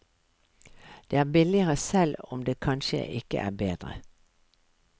Det er billigere selv om det kansje ikke er bedre.